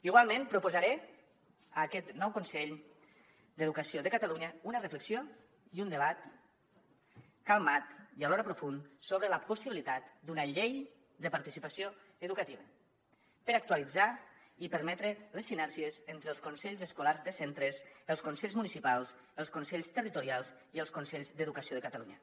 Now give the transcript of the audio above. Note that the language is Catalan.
igualment proposaré a aquest nou consell d’educació de catalunya una reflexió i un debat calmat i alhora profund sobre la possibilitat d’una llei de participació educativa per actualitzar i permetre les sinergies entre els consells escolars de centres els consells municipals els consells territorials i els consells d’educació de catalunya